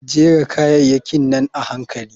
Jera kayayakin nan a hankali.